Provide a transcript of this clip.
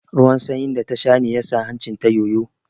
Ruwan sanyin da ta sha ne ya sa hancin ta yoyo